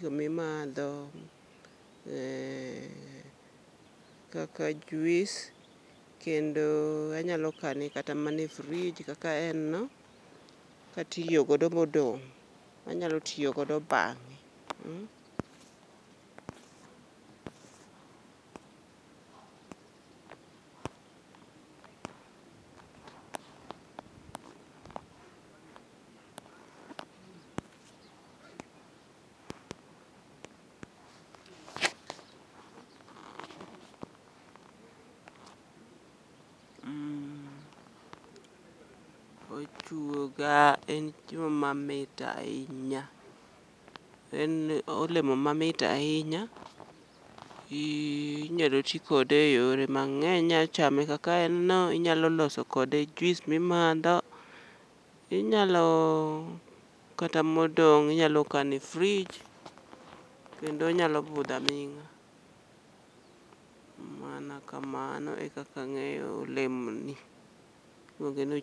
gimi madho kaka juis, kendo anyalo kane kata mana e frij kaka en no, katiyogodo modong' anyalo tiyo godo bang'e. Mmh, ochuoga en chiemo mamit ahinya, en olemo mamit ahinya i inyalo ti kode e yore mang'eny. Inya chame kaka en no, inyalo loso kode juis mi madho. Inyalo kata modong' inyalo kane frij, kendo onyalo budho aming'a. Mana kamano e kaka ang'eyo olemo ni, iluonge noch.